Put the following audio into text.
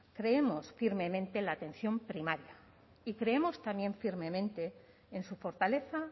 creemos firmemente en la atención primaria y creemos también firmemente en su fortaleza